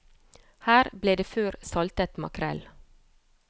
Her ble det før saltet makrell.